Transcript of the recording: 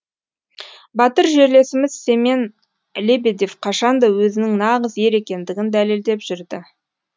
батыр жерлесіміз семен лебедев қашанда өзінің нағыз ер екендігін дәлелдеп жүрді